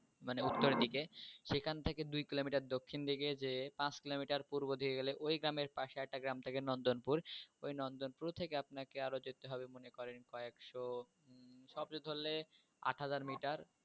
মানে উত্তরদিকে। সেখান থেকে দুই কিলোমিটার দক্ষিণদিকে যেয়ে পাঁচ কিলোমিটার পূর্ব দিকে গেলে ওই গ্রামের পাশে আরেকটা গ্রাম থাকে নন্দনপুর, ওই নন্দনপুর থেকে আপনাকে আরও যেতে হবে মনে করেন কয়েকশ সব ধরলে আট হাজার মিটার